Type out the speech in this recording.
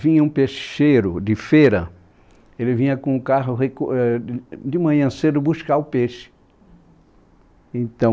Vinha um peixeiro de feira, ele vinha com o carro recu , éh ã, de manhã cedo buscar o peixe.